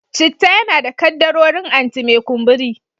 Citta yana da kaddarorin anti-mai kumburi.